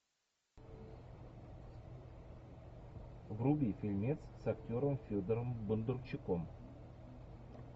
вруби фильмец с актером федором бондарчуком